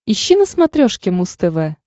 ищи на смотрешке муз тв